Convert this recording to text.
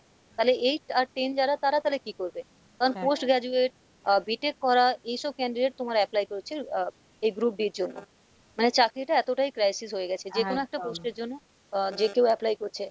তালে eight আর ten যারা তারা তালে কী করবে, কারণ post graduate uh b tech পড়া এইসব candidate তোমার apply করেছে আহ এই group d ইর জন্য, মানে চাকরিটা এতটাই crisis হয়ে গেছে যেকোনো একটা post এর জন্য আহ যে কেও apply করছে,